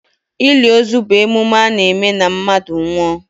Ili ozu bụ emume a na-eme na mmadụ nwụọ.